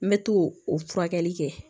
N mɛ to o furakɛli kɛ